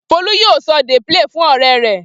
Folú yóò sọ dey play fún ọ̀rẹ́ rẹ̀.